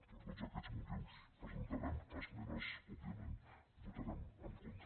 per tots aquest motius presentarem esmenes òbviament i votarem en contra